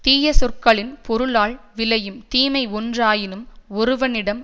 தீய சொற்களின் பொருளால் விளையும் தீமை ஒன்றாயினும் ஒருவனிடம்